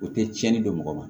U tɛ tiɲɛni dɔn mɔgɔ ma